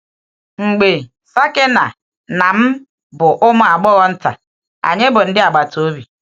Mgbe um Sakina na m bụ ụmụ agbọghọ nta, anyị bụ ndị agbata obi.